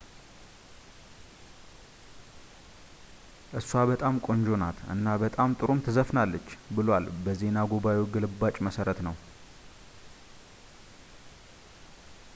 እሷ በጣም ቆንጆ ናት እና በጣም ጥሩም ትዘፍናለች ብሏል በዜና ጉባኤው ግልባጭ መሠረት ነው